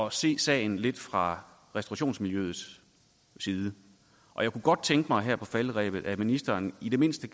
at se sagen lidt fra restaurationsmiljøets side og jeg kunne godt tænke mig her på falderebet at ministeren i det mindste